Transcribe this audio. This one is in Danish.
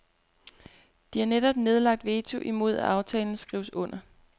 De har netop nedlagt veto imod at aftalen skrives under.